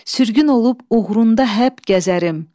Sürgün olub uğrunda həp gəzərəm.